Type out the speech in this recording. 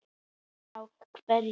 Heimir Már: Hvers vegna?